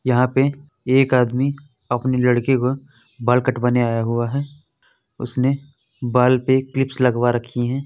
यहाँ पे एक आदमी अपने लड़की का बाल कटवाने आया हुआ है। उसने बाल पे क्लिप्स लगवा रखी हैं।